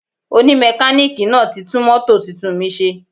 Oni mekaniki náà ti tún mótò tuntun mi ṣe